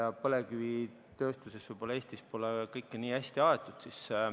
Eesti põlevkivitööstus võib-olla pole kõike nii hästi ajanud.